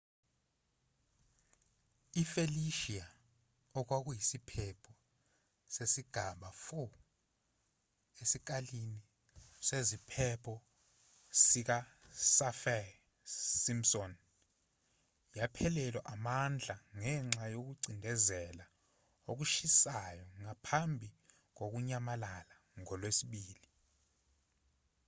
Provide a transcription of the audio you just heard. i-felicia okwakuyisiphepho sesigaba 4 esikalini seziphepho sikasaffir-simpson yaphelelwa amandla ngenxa yokucindezela okushisayo ngaphambi kokunyamalala ngolwesibili